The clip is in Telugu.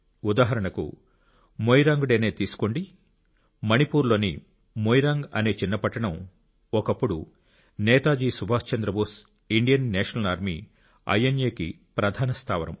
ఉదాహరణకు మొయిరాంగ్ డే నే తీసుకోండి మణిపూర్ లోని మొయిరాంగ్ అనే చిన్న పట్టణం ఒకప్పుడు Netaji Subhash Chandrabose Indian national army ఐఎన్ఎ కి ప్రధాన స్థావరం